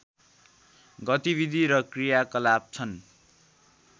गतिविधि र क्रियाकलाप छन्